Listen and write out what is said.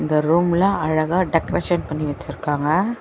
இந்த ரூம்ல அழகா டெக்கரேஷன் பண்ணி வச்சிருக்காங்க.